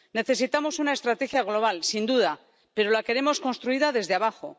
Necesitamos una estrategia global, sin duda, pero la queremos construida desde abajo.